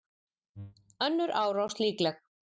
Önnur árás líkleg